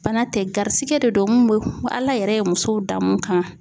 Bana tɛ garisigɛ de don mun bɛ Ala yɛrɛ ye musow dan mun kan